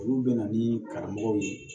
Olu bɛ na ni karamɔgɔ ye